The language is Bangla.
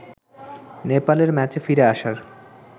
নেপালের ম্যাচে ফিরে আসার